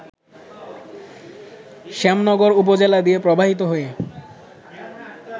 শ্যামনগর উপজেলা দিয়ে প্রবাহিত হয়ে